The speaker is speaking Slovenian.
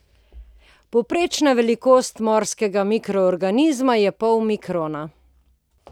Povprečna velikost morskega mikroorganizma je pol mikrona.